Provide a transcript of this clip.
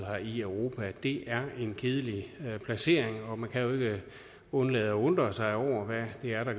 i europa det er en kedelig placering og man kan jo ikke undlade at undre sig over hvad det er der